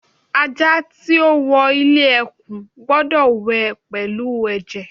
Aja ti o wọ ile ekun gbọdọ wẹ pẹlu ẹjẹ